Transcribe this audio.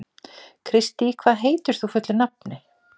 Kristý, hvað heitir þú fullu nafni?